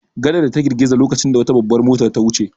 Gadar ta girgiza lokacin da wata babbar mota ta wuce.